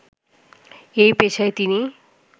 এ পেশায় তিনি